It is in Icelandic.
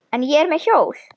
En ég er með hjól.